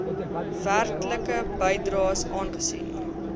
werklike bydraes aangesien